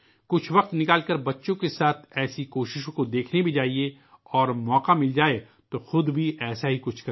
کچھ وقت نکال کر اپنے بچوں کے ساتھ اس طرح کی کوششوں کو دیکھنے جائیں اور اگر آپ کو موقع ملے ، تو خود بھی ایسا ہی کچھ کریں